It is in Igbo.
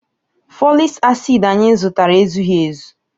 Folic acid anyị zụtara ezughị ezu.